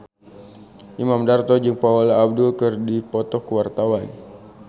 Imam Darto jeung Paula Abdul keur dipoto ku wartawan